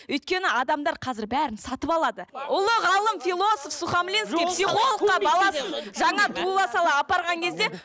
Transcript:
өйткені адамдар қазір бәрін сатып алады ұлы ғалым философ сухамлинский психологқа баласын жаңа туыла сала апарған кезде